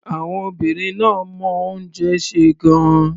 Àwọn obìnrin náà mọ oúnjẹ sè gan-an.